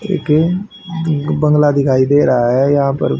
एक बांग्ला दिखाई दे रहा है यहां पर--